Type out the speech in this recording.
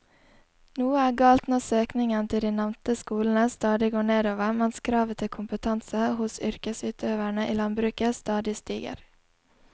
Noe er galt når søkningen til de nevnte skolene stadig går nedover mens kravet til kompetanse hos yrkesutøverne i landbruket stadig stiger.